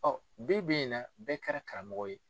bi bi in na bɛɛ kɛra karamɔgɔ ye.